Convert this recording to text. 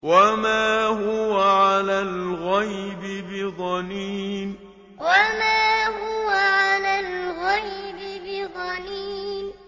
وَمَا هُوَ عَلَى الْغَيْبِ بِضَنِينٍ وَمَا هُوَ عَلَى الْغَيْبِ بِضَنِينٍ